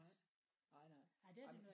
Nej nej nej ej